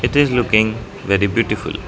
it is looking very beautiful.